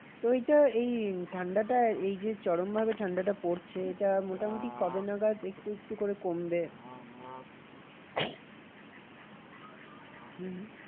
তো এইটা এই ঠান্ডাটা এই যে চরম ভাবে ঠান্ডাটা পড়ছে এটা মোটামুটি কবে নাগাদ একটু একটু করে কমবে? হম